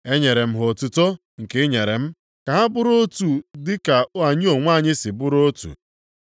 Enyere m ha otuto nke i nyere m, ka ha bụrụ otu dị ka anyị onwe anyị si bụrụ otu;